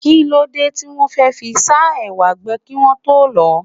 Kí ló dé tí wọn fẹ́ fi sá ẹwà gbẹ kí wọ́n tó lọ̀ ọ́?